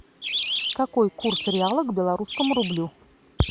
какой курс реала к белорусскому рублю